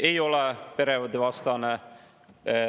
Ei ole perede vastane.